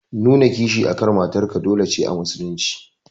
Nuna kishi akan matar ka dole ne a musulun ci.